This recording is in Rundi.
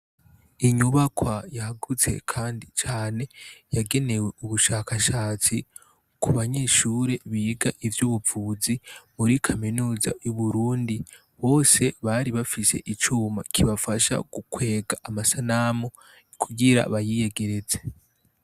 Inyubakwa ryagutse kandi cane yagenewe ubushakashatsi kubanyehsure biga ubuvuzi kuri Kaminuza y'Uburundi bose bari bafise icuma kibafadha gukwega amasanamu kugira bayiyegereze.